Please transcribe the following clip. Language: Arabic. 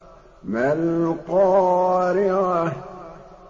مَا الْقَارِعَةُ